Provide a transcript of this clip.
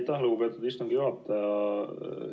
Aitäh, lugupeetud istungi juhataja!